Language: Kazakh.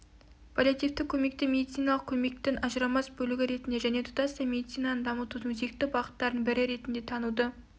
паллиативтік көмекті медициналық көмектің ажырамас бөлігі ретінде және тұтастай медицинаны дамытудың өзекті бағыттарының бірі ретінде тануды